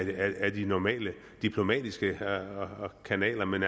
ad de normale diplomatiske kanaler men